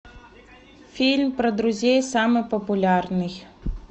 фильм про друзей самый популярный